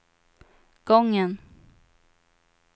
gången